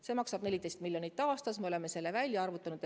Läheks vaja 14 miljonit aastas, me oleme selle välja arvutanud.